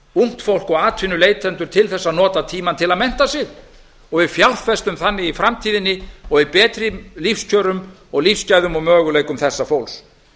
ungt fólk og atvinnuleitendur til þess að nota tímann til að mennta sig og við fjárfestum þannig í framtíðinni og í betri lífskjörum og lífsgæðum og möguleikum þessa fólks